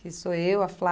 Que sou eu, a